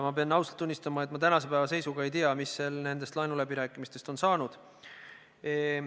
Ma pean ausalt tunnistama, et ma tänase päeva seisuga ei tea, mis nendest laenuläbirääkimistest on saanud.